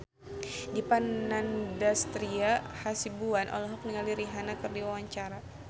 Dipa Nandastyra Hasibuan olohok ningali Rihanna keur diwawancara